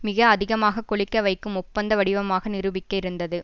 மிக அதிகமாக கொழிக்க வகைக்கும் ஒப்பந்த வடிவமாக நிரூபிக்க இருந்தது